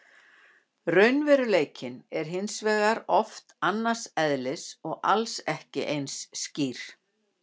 Raunveruleikinn er hins vegar oft annars eðlis og alls ekki eins skýr.